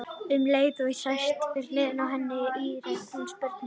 Um leið og ég sest við hlið hennar ítrekar hún spurninguna.